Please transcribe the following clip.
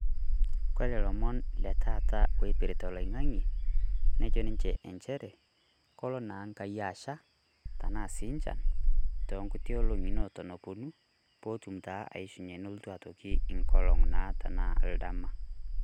Kore ilomon letaata loipirta Oloing'ang'e, nejo ninche inchere, kolo naa Enkai asha tenaa sii inchan, too nkuti olong'i neton eponu peetum taa aishunye neitoki olotu engolong' enaa naa oldama.